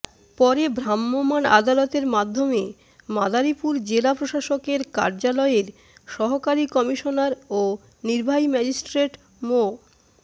পরে ভ্রাম্যমাণ আদালতের মাধ্যমে মাদারীপুর জেলা প্রশাসকের কার্যালয়ের সহকারী কমিশনার ও নির্বাহী ম্যাজিস্ট্রেট মো